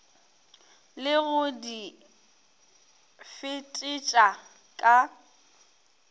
le go di fetetša ka